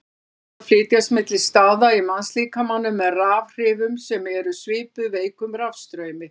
Taugaboð flytjast milli staða í mannslíkamanum með rafhrifum sem eru svipuð veikum rafstraumi.